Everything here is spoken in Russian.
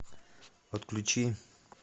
отключи